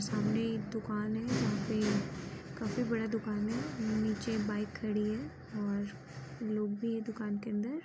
सामने एक दुकान है यहाँ पे काफी बड़ा दुकान है नीचे बाइक खड़ी है और लोग भी है दुकान के अन्दर